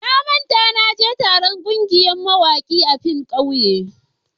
Na manta na je taron kungiyar mawaki a filin ƙauye.